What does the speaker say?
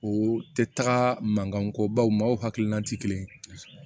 O tɛ taga mankan ko baw maaw hakilina tɛ kelen ye